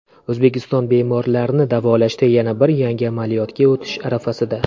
O‘zbekiston bemorlarni davolashda yana bir yangi amaliyotga o‘tish arafasida.